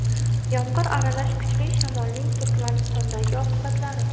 Yomg‘ir aralash kuchli shamolning Turkmanistondagi oqibatlari.